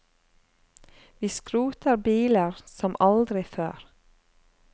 Vi skroter biler som aldri før.